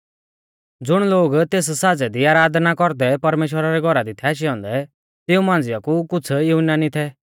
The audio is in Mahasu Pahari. ज़ुण लोग तेस साज़ै दी आराधना कौरदै परमेश्‍वरा रै घौरा दी थै आशै औन्दै तिऊं मांझ़िआ कु कुछ़ युनानी थै